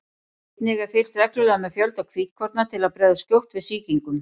einnig er fylgst reglulega með fjölda hvítkorna til að bregðast skjótt við sýkingum